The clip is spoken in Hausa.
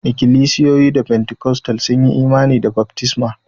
Ikilisiyoyi Pentikostal sun yi imani da baftisma